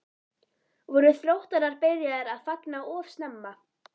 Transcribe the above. Voru Þróttarar byrjaðir að fagna of snemma?